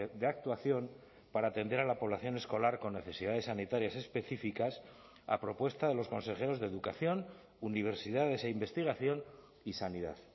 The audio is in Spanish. de actuación para atender a la población escolar con necesidades sanitarias específicas a propuesta de los consejeros de educación universidades e investigación y sanidad